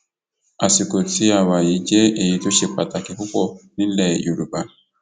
àsìkò tí a wà yìí jẹ èyí tó ṣe pàtàkì púpọ nílẹ yorùbá